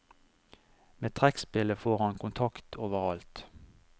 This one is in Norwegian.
Med trekkspillet får han kontakt overalt.